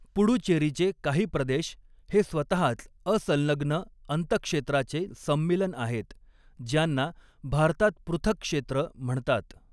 पुडुचेरीचे काही प्रदेश हे स्वतहाच असंलग्न अंतरक्षेत्राचे सम्मीलन आहेत, ज्यांना भारतात 'पृथक क्षेत्र' म्हणतात.